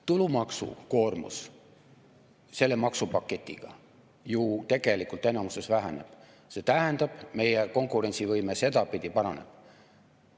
Tulumaksukoormus selle maksupaketiga ju tegelikult enamuses väheneb, see tähendab, et meie konkurentsivõime sedapidi paraneb.